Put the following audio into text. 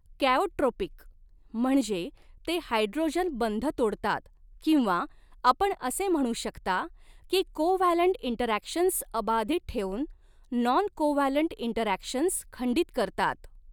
Chaotropic म्हणजे ते hydrogen बंध तोडतात किंवा आपण असे म्हणू शकता की कोव्हॅलंट इंटरॅक्शन्स अबाधित ठेवून नॉन कोव्हॅलंट इंटरॅक्शन्स खंडित करतात.